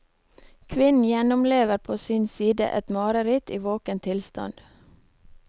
Kvinnen gjennomlever på sin side et mareritt i våken tilstand.